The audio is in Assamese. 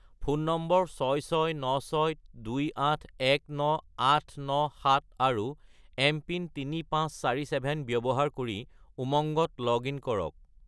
ফোন নম্বৰ 66962819897 আৰু এমপিন 3547 ব্যৱহাৰ কৰি উমংগত লগ-ইন কৰক।